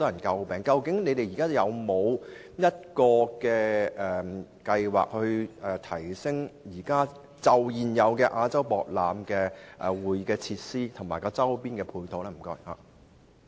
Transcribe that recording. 究竟局長現時有否計劃，去提升亞博館現有的會議設施及周邊配套？